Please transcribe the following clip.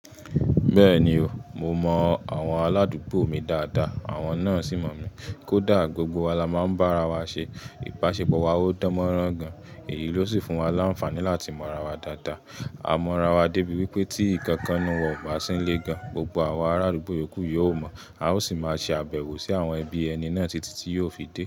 Bẹ́ẹ̀ni o, mo mọ àwọn aládùúgbò mi dáadáa àwọn náà sì mọ̀ mí. Kódà gbogbo wa la máa ń bá ara wa ṣe. Ipaṣepọ̀ wa ò dánmọ́rán gan. Èyí ló sì fún wa láńfààní láti mọ ara wa dáadáa. A mọ ara wa débi wípé tí ǹnkan kan n nu wa ọ̀, bà ṣín lé gan, gbogbo àwọn ará adugbo yókù yóò mọ̀. A ó sì máa ṣe àbẹ̀wò sí àwọn ẹbí ẹni náà títí tí yóò fi dé.